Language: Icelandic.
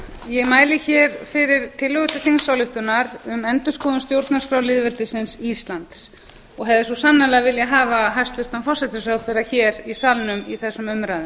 ég mæli hér fyrir tillögu til þingsályktunar um endurskoðun stjórnarskrár lýðveldisins íslands og hefði svo sannarlega viljað hafa hæstvirtan forsætisráðherra hér í salnum í þessum umræðum